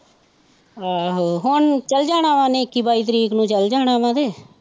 ਆਹੋ ਹੁਣ ਚੱਲ ਜਾਣਾ ਵਾਂ ਉਹਨੇ ਇੱਕੀ ਬਾਈ ਤਰੀਕ ਨੂੰ ਚੱਲ ਜਾਣਾ ਵਾਂ ਕਿ